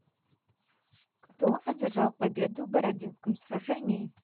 кто одержал победу в бородинском сражении